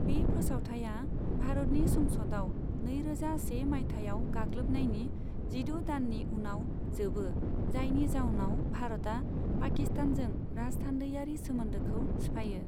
बे फोसावथाया भारतनि संसदआव नैरोजा से माइथायाव गाग्लोबनायनि जिद' दाननि उनाव जोबो, जायनि जाउनाव भारतआ पाकिस्तानजों राजथान्दैयारि सोमोन्दोखौ सिफायो।